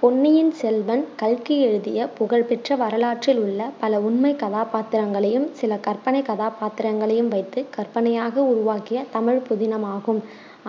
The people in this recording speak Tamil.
பொன்னியின் செல்வன், கல்கி எழுதிய புகழ் பெற்ற வரலாற்றில் உள்ள பல உண்மை கதாபாத்திரங்களையும் சில கற்பனை கதாபாத்திரங்களையும் வைத்து கற்பனையாக உருவாக்கிய தமிழ் புதினமாகும்.